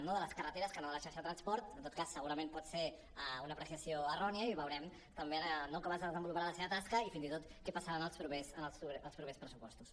no de les carreteres que no de la xarxa de transport en tot cas segurament pot ser una apreciació errònia i veurem també no com es desenvoluparà la seva tasca i fins i tot què passarà en els propers pressupostos